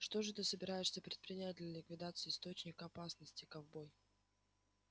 что же ты собираешься предпринять для ликвидации источника опасности ковбой